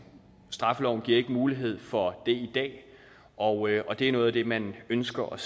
straffeloven giver ikke mulighed for det i dag og det er noget af det man ønsker at